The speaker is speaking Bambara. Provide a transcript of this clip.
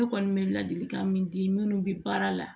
Ne kɔni bɛ ladilikan min di minnu bɛ baara la